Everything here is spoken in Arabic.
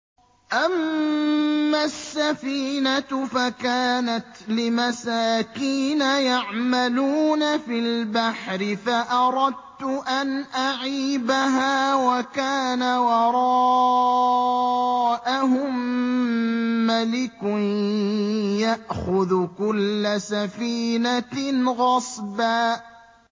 أَمَّا السَّفِينَةُ فَكَانَتْ لِمَسَاكِينَ يَعْمَلُونَ فِي الْبَحْرِ فَأَرَدتُّ أَنْ أَعِيبَهَا وَكَانَ وَرَاءَهُم مَّلِكٌ يَأْخُذُ كُلَّ سَفِينَةٍ غَصْبًا